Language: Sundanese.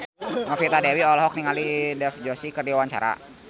Novita Dewi olohok ningali Dev Joshi keur diwawancara